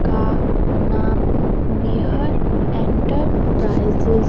का नाम मेहर एंटरप्राइजेज --